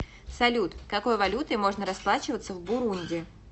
салют какой валютой можно расплачиваться в бурунди